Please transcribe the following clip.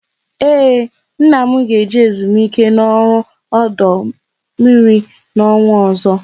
Ee, nna m ga eje ezumike ọrụ n'ọdụ mmiri n'ọnwa ọzọ